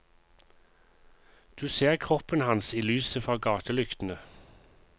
Du ser kroppen hans i lyset fra gatelyktene.